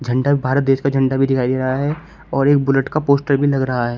झंडा (جھنڈا) भी भारत देश का झंडा भी दिखाई दे रहा है और एक बुलेट का पोस्टर भी लग रहा है।